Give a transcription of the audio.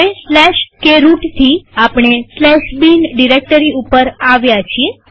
હવે કે રૂટથી આપણે bin ડિરેક્ટરી ઉપર આવ્યા છીએ